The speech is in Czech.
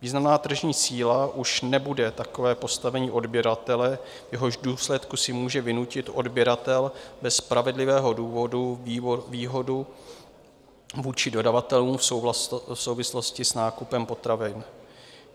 Významná tržní síla už nebude takové postavení odběratele, v jehož důsledku si může vynutit odběratel bez spravedlivého důvodu výhodu vůči dodavatelům v souvislosti s nákupem potravin.